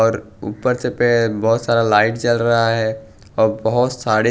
और ऊपर से बहुत सारा लाइट चल रहा है और बहुत सारी--